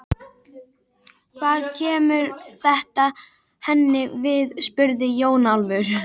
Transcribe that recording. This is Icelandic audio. Hvað kemur þetta henni við spurði Jón Ólafur.